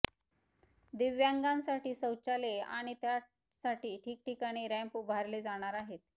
दिव्यांगासाठी शौचालये आणि त्यासाठी ठिकठिकाणी रॅम्प उभारले जाणार आहेत